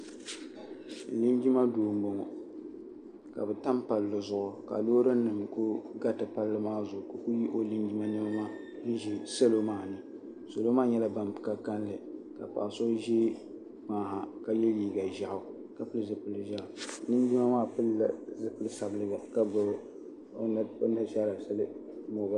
Linjima doo m boŋɔ ka bɛ tam palli zuɣu ka loori nima kuli garita palli maa zuɣu ka o kuli ye o linjima niɛma maa n ʒi salo maa ni salo maa nyɛla ban ka kalinli ka paɣa so ʒi kpaŋ ha ka ye liiga ʒaɣu ka pili zipil'ʒaɣu linjima maa pilila zipil'sabiliga ka gbibi o nashaara sili mobal.